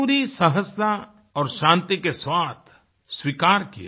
पूरी सहजता और शांति के साथ स्वीकार किया